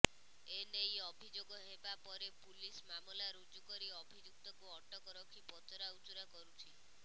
ଏନେଇ ଅଭିଯୋଗ ହେବା ପରେ ପୁଲିସ ମାମଲା ରୁଜୁ କରି ଅଭିଯୁକ୍ତକୁ ଅଟକ ରଖି ପଚରାଉଚରା କରୁଛି